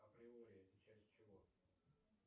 априори это часть чего